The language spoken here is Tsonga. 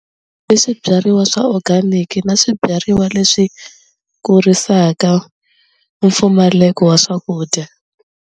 I swibyariwa swa organic na swibyariwa leswi kurisaka mpfumaleko wa swakudya.